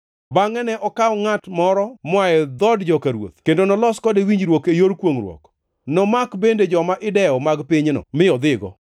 Bangʼe ne okaw ngʼato moro moa e dhood joka ruoth kendo noloso kode winjruok e yor kwongʼruok. Nomako bende joma idewo mag pinyno mi odhigo,